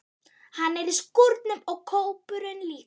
Hann er í skúrnum og kópurinn líka.